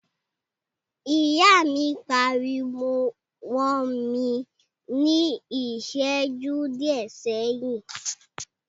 Ìyá mi pariwo mọ́ mi ní ìṣẹjú díẹ̀ sẹ́yìn.